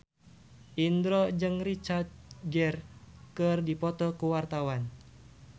Indro jeung Richard Gere keur dipoto ku wartawan